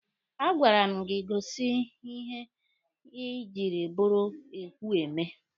A gwara m gị gosi ihe ị jiri bụrụ ekwu eme!